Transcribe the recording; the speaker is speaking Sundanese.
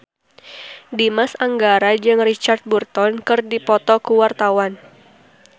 Dimas Anggara jeung Richard Burton keur dipoto ku wartawan